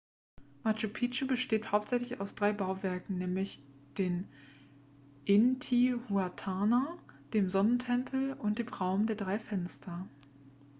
machu picchu besteht hauptsächlich aus drei bauwerken nämlich den intihuatana dem sonnentempel und dem raum der drei fenster